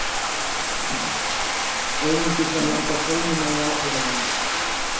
Einungis var landað kolmunna í aprílmánuði